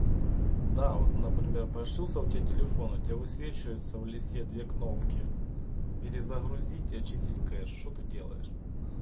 да вот например прошился у тебя телефон у тебя высвечивается в лисе две кнопки перезагрузить и очистить кэш что ты делаешь